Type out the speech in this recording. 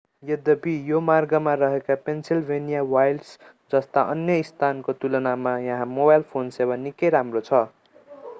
यद्यपि यो मार्गमा रहेका पेन्सिलभेनिया वाइल्ड्स् जस्ता अन्य स्थानको तुलनामा यहाँ मोबाइल फोन सेवा निकै राम्रो छ